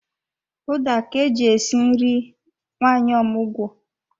Ụda ka eji esi nri nwanyị omụgwọ